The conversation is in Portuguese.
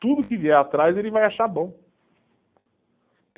Tudo que vier atrás ele vai achar bom.